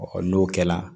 n'o kɛla